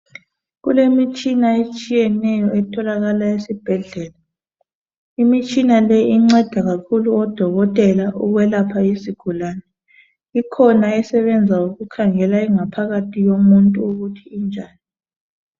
Kulemitshina etshiyeneyo etholakala esibhedlela imitshina le inceda kakhulu odokotela ukwelapha isigulane ikhona esebenza ukukhangela ingaphakathi yomuntu ukuthi injani.